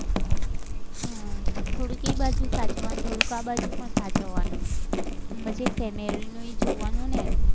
હમ થોડુંક એ બાજુ સાચવવાનું, થોડુંક આ બાજુ પણ સાચવવાનું હમ તો કે family નું એ જોવાનું ને